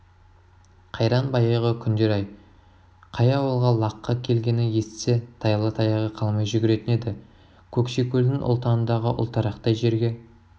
қайран баяғы күндер-ай қай ауылға лаққы келгенін есітсе тайлы-таяғы қалмай жүгіретін еді көкшекөлдің ұлтанындағы ұлтарақтай жерге